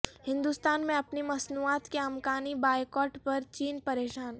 ہندوستان میں اپنی مصنوعات کے امکانی بائیکاٹ پر چین پریشان